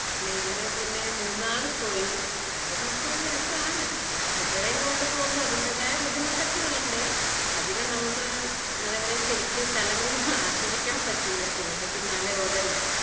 ഇതിനു മുന്നേ മൂന്നാർ പോയി അത് ഒക്കെ ഒരു രസാണ് കുട്ടികളേം കൊണ്ട് പോവുമ്പോ അതിന്റെതായ ബുദ്ധിമുട്ടുകളൊക്കെ ഉണ്ട് അധികം നമ്മൾക്ക് എന്താ പറയുക ശെരിക്ക് സ്ഥലങ്ങളൊന്നും ആസ്വദിക്കാൻ പറ്റില്ല ഇവരുടെ പിന്നാലെ ഓടണ്ടേ